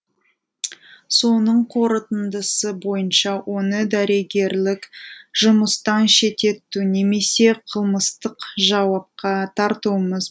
соның қорытындысы бойынша оны дәрігерлік жұмыстан шеттету немесе қылмыстық жауапқа тартуымыз